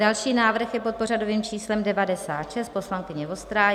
Další návrh je pod pořadovým číslem 96, poslankyně Vostrá.